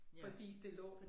Fordi det lå